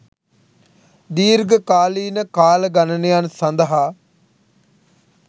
දීර්ඝ කාලීන කාල ගණනයන් සඳහා